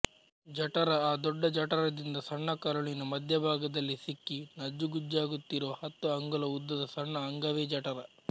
ಜಠರ ಅ ದೊಡ್ಡ ಜಠರದಿಂದ ಸಣ್ಣಕರುಳಿನ ಮಧ್ಯಭಾಗದಲ್ಲಿ ಸಿಕ್ಕಿ ನಜ್ಜುಗುಜ್ಜಾಗುತ್ತಿರುವ ಹತ್ತು ಅಂಗುಲ ಉದ್ದದ ಸಣ್ಣ ಅಂಗವೇ ಜಠರ